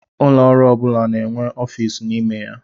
Ụlọọrụ ọ bụla na-enwe ọfiisi n'ime ha.